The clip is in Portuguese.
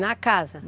Na casa?